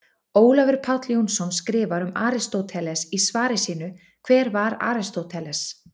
Ólafur Páll Jónsson skrifar um Aristóteles í svari sínu Hver var Aristóteles?